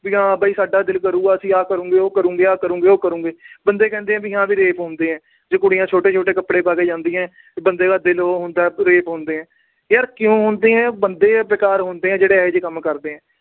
ਵੀ ਹਾਂ ਵੀ ਸਾਡਾ ਦਿਲ ਕਰੂਗਾ ਆਹ ਕਰੂਗੇ, ਉਹ ਕਰੂਗੇ, ਆਹ ਕਰੂਗੇ, ਉਹ ਕਰੂਗੇ। ਬੰਦੇ ਕਹਿੰਦੇ ਆ ਵੀ rape ਹੁੰਦੇ ਆ, ਜੇ ਕੁੜੀਆਂ ਛੋਟੇ-ਛੋਟੇ ਕੱਪੜੇ ਪਾ ਕੇ ਜਾਂਦੀਆਂ ਤਾਂ ਬੰਦੇ ਦਾ ਦਿਲ ਉਹ ਹੁੰਦਾ, rape ਹੁੰਦੇ ਨੇ। ਯਾਰ ਕਿਉਂ ਹੁੰਦੇ ਆ, ਬੰਦੇ ਬੇਕਾਰ ਹੁੰਦੇ ਆ, ਜਿਹੜੇ ਇਹੋ ਜੇ ਕੰਮ ਕਰਦੇ ਆ।